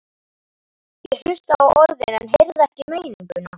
Ég hlustaði á orðin en heyrði ekki meininguna.